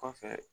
Kɔfɛ